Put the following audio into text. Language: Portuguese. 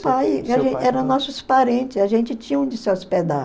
pai eram nossos parentes, a gente tinha onde se hospedar.